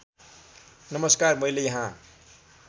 नमस्कार मैले यहाँ